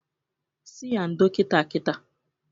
Sị ya ndo kita kita!